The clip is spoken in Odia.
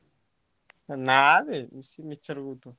ହେ ନା ବେ ସେ ମିଛରେ କହୁଥିବ।